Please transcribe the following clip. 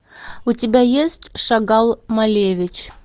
у тебя есть шагал малевич